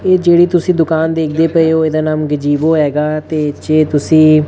ਇਹ ਜਿਹੜੀ ਤੁਸੀਂ ਦੁਕਾਨ ਦੇਖਦੇ ਪਏ ਹੋ ਇਹਦਾ ਨਾਮ ਗਜੀਵੋ ਹੈਗਾ ਤੇ ਜੇ ਤੁਸੀਂ--